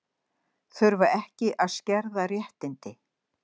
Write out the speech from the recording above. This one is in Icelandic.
Þurfa ekki að skerða réttindi